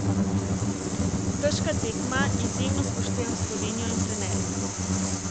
Težka tekma, izjemno spoštujem Slovenijo in trenerja.